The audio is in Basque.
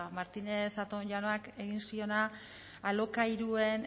martínez zatón jaunak egin ziona alokairuen